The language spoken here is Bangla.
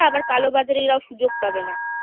আবার কালোবাজারিরা সুযোগ পাবে না